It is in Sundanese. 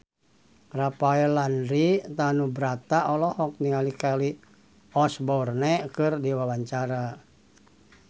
Rafael Landry Tanubrata olohok ningali Kelly Osbourne keur diwawancara